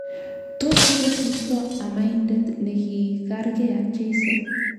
Tos kokosirto amadaindet ne kigargei ak cheiso?